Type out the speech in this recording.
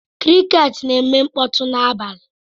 Crickets na-eme mkpọtụ n'abalị.